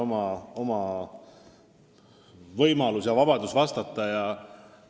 Õnneks on vastajal vabadus vastata, kuidas ta soovib.